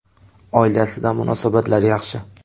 Oilasida munosabatlar yaxshi.